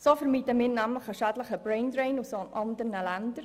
So vermeiden wir nämlich einen schädlichen Brain-Drain aus anderen Ländern.